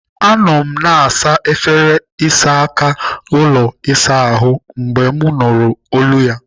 Anọ m na-asa efere ịsa aka ụlọ ịsa ahụ mgbe m nụrụ olu ya.